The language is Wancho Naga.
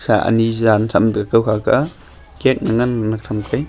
ah Ani jan thram te kowkah ka cake manan manak thamkai.